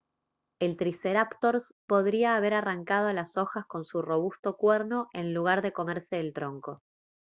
el triceráptors podría haber arrancado las hojas con su robusto cuerno en lugar de comerse el tronco